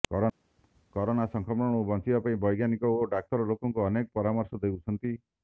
corona ସଂକ୍ରମଣରୁ ବଞ୍ଚିବା ପାଇଁ ବୈଜ୍ଞାନିକ ଓ ଡାକ୍ତର ଲୋକଙ୍କୁ ଅନେକ ପରାମର୍ଶ ଦେଉଛନ୍ତି